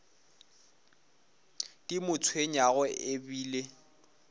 di mo tshwenyago e bile